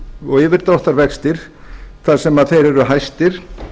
og yfirdráttarvextir þar sem þeir eru hæstir